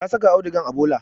Ta saka audugan a bola